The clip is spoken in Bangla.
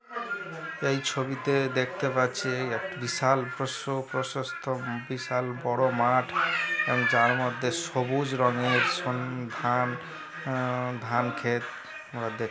এই ছবিতে দেখতে পাচ্ছি একটা বিশাল প্রসো প্রশস্ত বিশাল বড় মাঠ এবং যার মধ্যে সবুজ রঙের সন-্ ন্ধান উম ধান ক্ষেত দেখ --